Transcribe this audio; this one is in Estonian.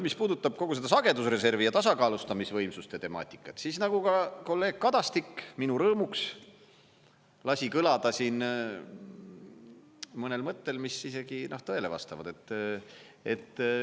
Mis puudutab kogu seda sagedusreservi ja tasakaalustamisvõimsuste temaatikat, siis nagu ka kolleeg Kadastik minu rõõmuks lasi kõlada siin mõnel mõttel, mis isegi tõele vastavad.